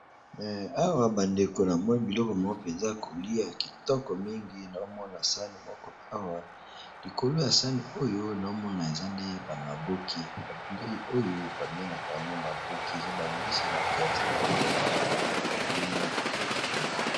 Awa bandeko namoni biloko moko mpenza kolia kitoko mingi na omona sani moko awa likolo ya sani oyo na omona eza nde ba maboke ba bileyi oyo babengaka yango maboke eza ba mbisi na kati ou bien ba misuni eza bileyi moko kitoko mpenza.